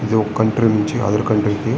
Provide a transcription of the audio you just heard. ఇది ఒక కంట్రీ నుంచి అదర్ కంట్రీకి --